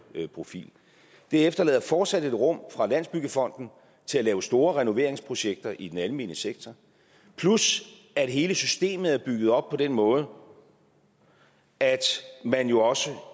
profil det efterlader fortsat et rum for landsbyggefonden til at lave store renoveringsprojekter i den almene sektor plus at hele systemet er bygget op på den måde at man jo også